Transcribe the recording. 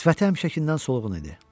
Sifəti həmişəkindən solğun idi.